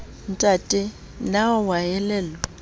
ntate na o a elellwa